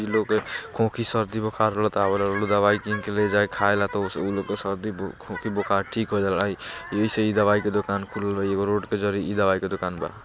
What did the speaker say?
लोग के खोकई शरदी बुखार रहेला टा आवेला दवाई कीन के ले जाए खाएला ता उ लोग के शरदी खोखी बुखार ठीक हो जाईला। एही से ई दवाई के दुकान खुलेला ई रोड पे जारी ई दवाई के दुकान बा।